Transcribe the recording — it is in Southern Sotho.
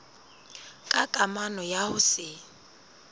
ka kamano ya ho se